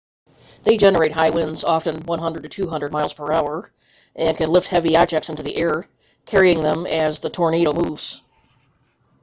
they generate high winds often 100-200 miles/hour and can lift heavy objects into the air carrying them as the tornado moves